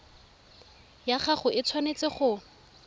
ya gago e tshwanetse go